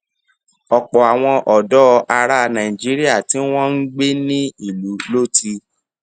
ọpọ àwọn ọdọ ará nàìjíríà tí wọn ń gbé ní ìlú ló ti